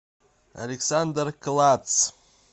александр клатц